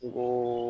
N ko